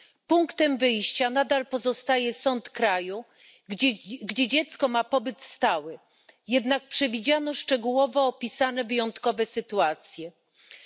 Punktem wyjścia nadal pozostaje sąd kraju, w którym dziecko ma pobyt stały, jednak przewidziano szczegółowo opisane sytuacje wyjątkowe.